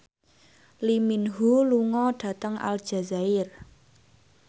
Lee Min Ho lunga dhateng Aljazair